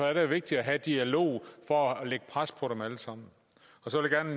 er det jo vigtigt at have dialog for at lægge pres på dem alle sammen så